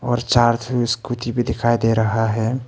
और charging scooty भी दिखाई दे रहा है।